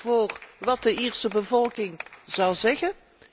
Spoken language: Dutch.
voor wat de Ierse bevolking zou zeggen.